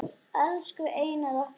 Elsku Einar okkar.